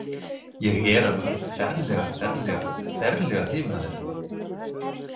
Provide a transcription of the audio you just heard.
Ég er alveg ferlega, ferlega, ferlega hrifinn af þér.